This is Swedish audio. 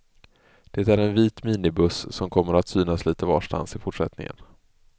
Det är en vit minibuss, som kommer att synas lite varstans i fortsättningen.